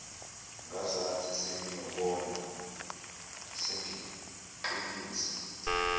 ngazathi sengiyabona sengiqinisa